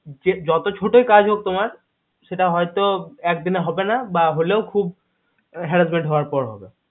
যে যত ছোটই কাজ হোক তোমার সেটা হয়তো এক দিনে হবে না বা হলেও খুব harassment হওয়ার পর হবে